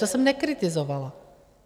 To jsem nekritizovala.